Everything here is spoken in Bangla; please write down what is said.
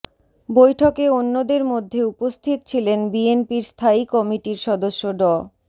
বৈঠকে অন্যদের মধ্যে উপস্থিত ছিলেন বিএনপির স্থায়ী কমিটির সদস্য ড